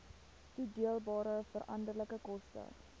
toedeelbare veranderlike koste